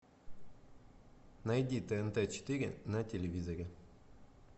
найди тнт четыре на телевизоре